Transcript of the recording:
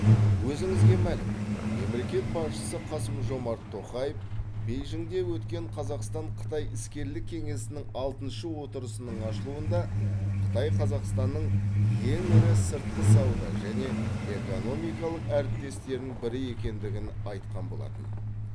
өзіңізге мәлім мемлекет басшысы қасым жомарт тоқаев бейжіңде өткен қазақстан қытай іскерлік кеңесінің алтыншы отырысының ашылуында қытай қазақстанның ең ірі сыртқы сауда және экономикалық әріптестерінің бірі екендігін айтқан болатын